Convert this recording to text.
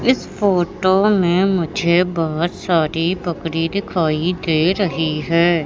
इस फोटो में मुझे बहुत सारी बकरी दिखाई दे रही है।